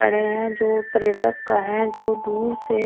पड़े हैं जो पर्यटक का हैं जो दूर से--